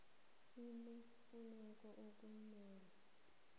i neemfuneko okumele